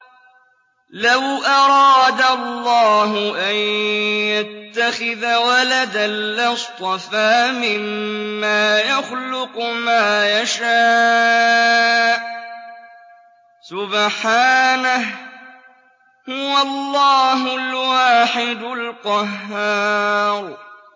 لَّوْ أَرَادَ اللَّهُ أَن يَتَّخِذَ وَلَدًا لَّاصْطَفَىٰ مِمَّا يَخْلُقُ مَا يَشَاءُ ۚ سُبْحَانَهُ ۖ هُوَ اللَّهُ الْوَاحِدُ الْقَهَّارُ